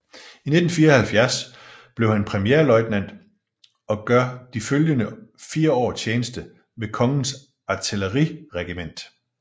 I 1974 bliver han premierløjtnant og gør de følgende fire år tjeneste ved Kongens Artilleriregiment